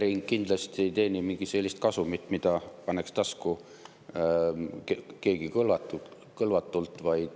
Elering kindlasti ei teeni mingit sellist kasumit, mille keegi paneks kõlvatult tasku.